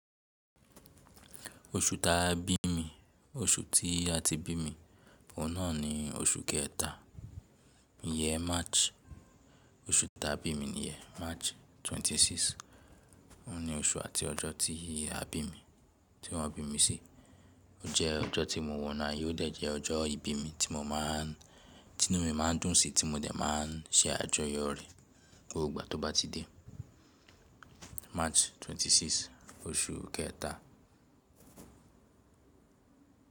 Oṣù ta bí mi, oṣù tí a ti bí mi, ohun naà ní oṣù kẹta, ìyẹ́n March, oṣù ta bí mi nìyẹn March 26. Ó ní oṣù àti ọjọ́ tí a bí mi, tí wọ́n bí mi sí. Ó jẹ́ ọjọ́ tí mo wọ̀nu aye o dẹ̀ jẹ́ ọjọ́ ìbí mi tí mo máa ń, tí inú mi máa ń dùn sí, tí mo dẹ̀ máa ń ṣe àjọyọ̀ rẹ̀ gbogbo ìgbà tó bá ti dé March 26, oṣù kẹta.